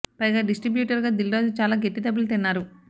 పైగా డిస్ట్రిబ్యూటర్ గా దిల్ రాజు చాలా గట్టి దెబ్బలు తిన్నారు